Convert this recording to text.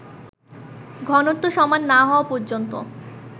ঘনত্ব সমান না হওয়া পর্যন্ত